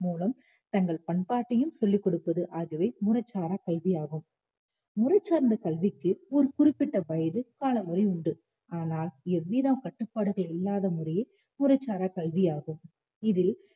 மூலம் தங்கள் பண்பாட்டையும் சொல்லிக் கொடுப்பது ஆகியன முறைசாரா கல்வி ஆகும் முறைசார்ந்த கல்விக்கு ஒரு குறிப்பிட்ட வயது காலமுறை உண்டு ஆனால் எவ்வித கட்டுப்பாடுகள் இல்லாத முறையே முறைசாரா கல்வியாகும் இதில்